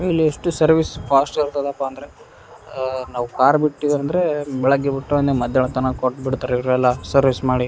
ಇಲ್ಲೆಷ್ಟು service fast ಇರ್ತದಪ್ಪ ಅಂದ್ರೆ ಆಆಆ ನಾವ್ ಕಾರ್ ಬಿಟ್ಟಿವಿ ಅಂದ್ರೆ ಬೆಳಿಗ್ಗೆ ಬಿಟ್ರೆ ಮಧ್ಯಾಹ್ನ ತನ್ಕ ಕೊಟ್ಟ್ಬಿಡ್ತಾರೆ ಇವ್ರೆಲ್ಲಾ ಸರ್ವಿಸ್ ಮಾಡಿ.